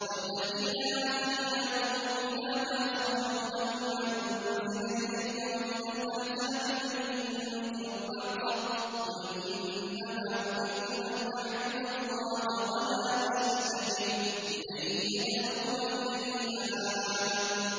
وَالَّذِينَ آتَيْنَاهُمُ الْكِتَابَ يَفْرَحُونَ بِمَا أُنزِلَ إِلَيْكَ ۖ وَمِنَ الْأَحْزَابِ مَن يُنكِرُ بَعْضَهُ ۚ قُلْ إِنَّمَا أُمِرْتُ أَنْ أَعْبُدَ اللَّهَ وَلَا أُشْرِكَ بِهِ ۚ إِلَيْهِ أَدْعُو وَإِلَيْهِ مَآبِ